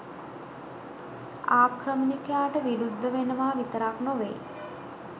ආක්‍රමණිකයාට විරුද්ධ වෙනවා විතරක් නොවෙයි